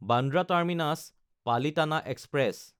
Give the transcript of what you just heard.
Bandra Terminus-Palitana express